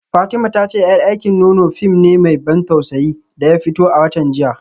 Fatima ta ce yar aikin nono fim ne mai ban tausayi da ya fito a watan jiya